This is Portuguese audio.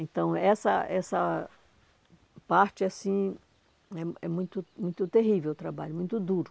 Então, essa essa parte, assim, é é muito muito terrível o trabalho, muito duro.